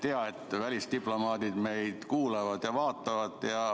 Hea, et välisdiplomaadid meid kuulavad ja vaatavad.